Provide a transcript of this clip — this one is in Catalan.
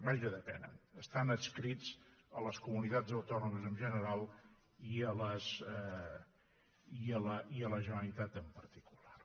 vaja depenen estan adscrits a les comunitats autònomes en general i a la generalitat en particular